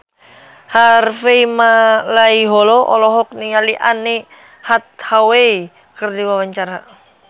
Harvey Malaiholo olohok ningali Anne Hathaway keur diwawancara